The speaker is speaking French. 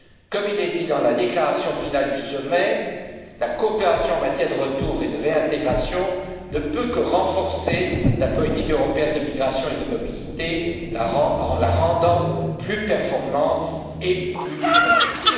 Comme il est dit dans la déclaration finale du sommet, la coopération en matière de retour et de réintégration ne peut que renforcer la politique européenne de migration et de mobilité, en la rendant plus performante et plus complète.